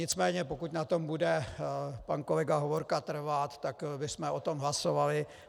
Nicméně pokud na tom bude pan kolega Hovorka trvat, tak bychom o tom hlasovali.